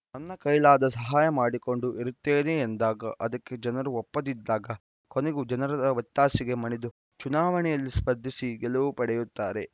ನನ್ನ ಕೈಲಾದ ಸಹಾಯ ಮಾಡಿಕೊಂಡು ಇರುತ್ತೇನೆ ಎಂದಾಗ ಅದಕ್ಕೆ ಜನರೂ ಒಪ್ಪದಿದ್ದಾಗ ಕೊನೆಗೂ ಜನರ ಒತ್ತಾಸೆಗೆ ಮಣಿದು ಚುನಾವಣೆಯಲ್ಲಿ ಸ್ಪರ್ಧಿಸಿ ಗೆಲುವು ಪಡೆಯುತ್ತಾರೆ